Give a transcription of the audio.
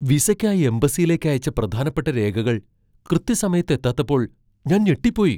വിസയ്ക്കായി എംബസിയിലേക്ക് അയച്ച പ്രധാനപ്പെട്ട രേഖകൾ കൃത്യസമയത്ത് എത്താത്തപ്പോൾ ഞാൻ ഞെട്ടിപ്പോയി.